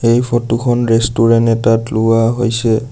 এই ফটো খন ৰেষ্টুৰেণ্ট এটাত লোৱা হৈছে।